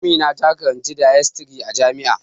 Amina ta karanci dietisry a jami'a